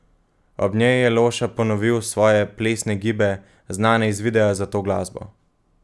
Ob njej je Loša ponovil svoje plesne gibe, znane iz videa za to glasbo.